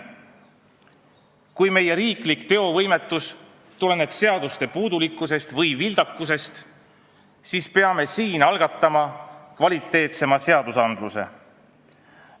Kui meie riiklik teovõimetus tuleneb seaduste puudulikkusest või vildakusest, siis peame siin algatama kvaliteetsema seadusandluse.